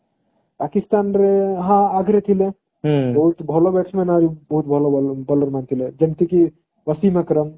ପାକିସ୍ଥାନ ର ହଁ ଆଗରୁ ଥିଲେ ବହୁତ ଭଲbatman ଆଉ ବହୁତ ଭଲ bowler ମାନେ ଥିଲେ ଯେମିତି କି ବସିମ ଅକ୍ରମ